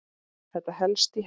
Þetta helst í hendur.